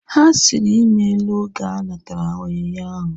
Ha sịrị ịmela oge ha natara onyinye ahu